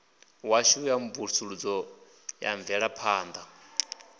washu wa mvusuludzo na mvelaphanḓa